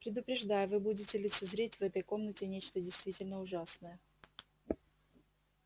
предупреждаю вы будете лицезреть в этой комнате нечто действительно ужасное